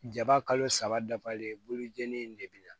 Jaba kalo saba dafalen bolo jeni in de bi na